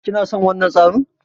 Kina son wannan tsarin?